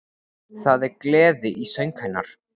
Það er gleði í söng hennar